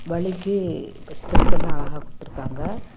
வழிக்கு இப்ப ஸ்டெப்பெல்லா அழகா குடுத்திருக்காங்க.